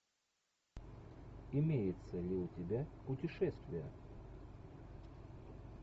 имеется ли у тебя путешествие